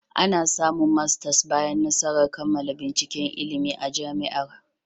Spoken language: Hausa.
Ana samun masters bayan nasarar kammala binciken ilimi a Jami'ar